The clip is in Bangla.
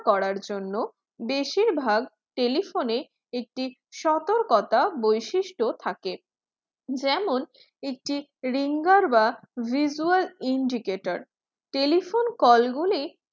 করার জন্য বেশির ভাগ telephone একটি সতর্কতা বৈশিষ্ট থাকে যেমন একটি ringer বা visual indicator telephone call গুলি